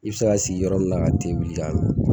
I bɛ se ka sigi yɔrɔ min na ka te wuli k'a min